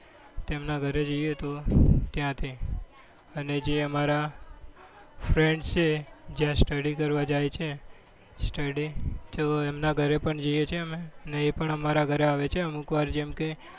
તેમના ઘરે જઈએ તો ત્યાં તે અને જે અમારા friend છે જ્યાં study કરવા જાય છે study. તેઓ એમના ઘરે પણ જઈએ છીએ અમે અને એ પણ અમારા ઘરે આવે છે અમુકવાર. જેમકે,